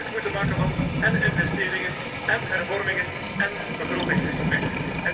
We zullen werk moeten maken van én investeringen én hervormingen én begrotingsdiscipline.